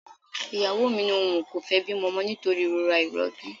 Ìyàwó mi ní òun kò fẹ́ bímọ mọ nítorí ìrora ìrọbí